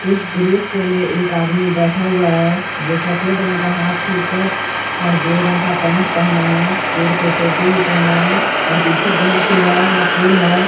इस दृश्य में एक आदमी बैठा हुआ है जो सफेद रंग का हाफ टीशर्ट और ग्रे रंग का पेंट पहना है सर पर टोपी भी पहना है और पीछे बहोत ही बड़ा सा पुल है।